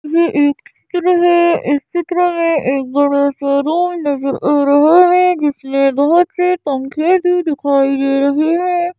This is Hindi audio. यह एक चित्र है इस चित्र में एक बड़ा शोरूम नजर आ रहा है जिसमें बहुत से पंखे भी दिखाई दे रहे हैं।